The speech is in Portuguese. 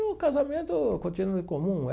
E o casamento continuou em comum.